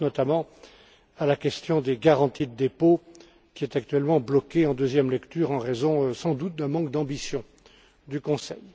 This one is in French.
Je pense notamment à la question des garanties de dépôt, qui est actuellement bloquée en deuxième lecture, en raison sans doute d'un manque d'ambition du Conseil.